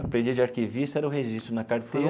Aprendiz de arquivista, era o registro na carteira.